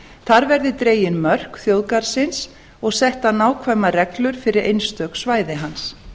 þar verði dregin mörk þjóðgarðsins og settar nákvæmar reglur fyrir einstök svæði hans